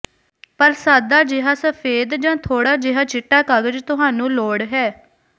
ਪਰ ਸਾਦਾ ਜਿਹਾ ਸਫੈਦ ਜਾਂ ਥੋੜ੍ਹਾ ਜਿਹਾ ਚਿੱਟਾ ਕਾਗਜ਼ ਤੁਹਾਨੂੰ ਲੋੜ ਹੈ